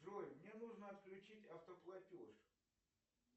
джой мне нужно отключить автоплатеж